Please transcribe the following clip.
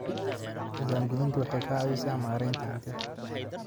Diiwaangelintu waxay ka caawisaa maaraynta hantida.